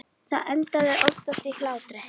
Það endaði oftast í hlátri.